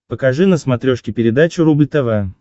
покажи на смотрешке передачу рубль тв